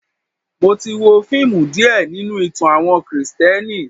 Mo ti wo fíìmù díè nínú ìtàn àwọn Kristẹni.